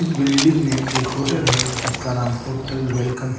इस बिल्डिंग में एक होटल है जिसका नाम होटल वेलकम --